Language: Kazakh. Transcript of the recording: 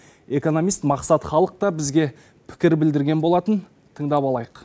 экономист мақсат халықта бізге пікір білдірген болатын тыңдап алайық